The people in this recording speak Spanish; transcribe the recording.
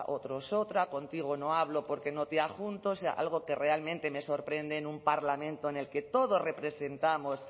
otros otra contigo no hablo porque no te ajunto o sea algo que realmente me sorprende en un parlamento en el que todos representamos